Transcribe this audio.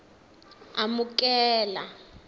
amukela